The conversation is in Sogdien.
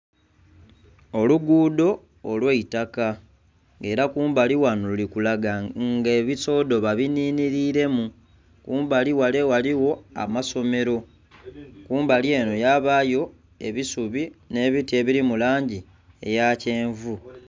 Olugudho olw'eitaka, era kumbali ghano luli kulaga nga ebisoodo babinhinhiliremu. Kumbali ghale ghaligho amasomero. Kumbali enho yabayo ebisubi nh'ebiti ebiri mu langi eya kyenvu.